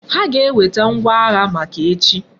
Ha ga eweta ngwa agha maka echi